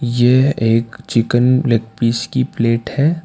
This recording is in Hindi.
यह एक चिकन लेग पीस की प्लेट है।